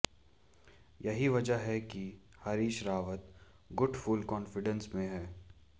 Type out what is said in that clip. यही वजह है कि हरीश रावत गुट फुल कॉन्फिडेंस में है